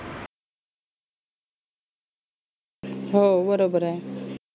हो बरोबर आहे.